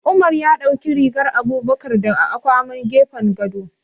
Umar ya ɗauki rigar Abubakar daga akwaman gefen gado.